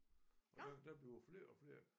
Og der der bliver flere og flere